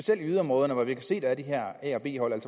her a og b hold